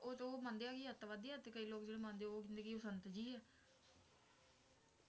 ਕਈ ਲੋਗ ਜੋ ਇਹ ਮੰਨਦੇ ਹੈ ਕਿ ਅੱਤਵਾਦੀ ਹੈ ਤੇ ਕਈ ਜੋ ਮੰਨਦੇ ਹੈ ਵੀ ਉਹ ਕਹਿੰਦੇ ਹੈ ਸੰਤ ਜੀ ਹੈ